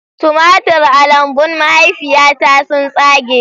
Tumatir a lambun mahaifiyata sun tsage